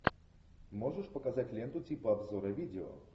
можешь показать ленту типа обзора видео